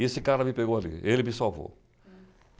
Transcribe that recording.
E esse cara me pegou ali, ele me salvou.